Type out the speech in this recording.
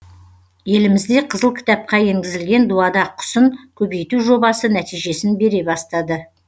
елімізде қызыл кітапқа енгізілген дуадақ құсын көбейту жобасы нәтижесін бере бастады